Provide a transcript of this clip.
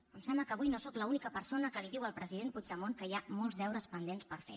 em sembla que avui no sóc l’única persona que li diu al president puigdemont que hi ha molts deures pendents per fer